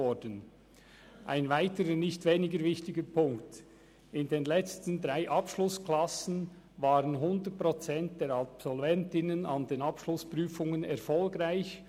Zu einem weiteren, nicht weniger wichtiger Punkt: In den letzten drei Abschlussklassen waren 100 Prozent der Absolventinnen an den Abschlussprüfungen erfolgreich.